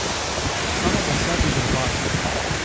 Samemu sebi grobar ...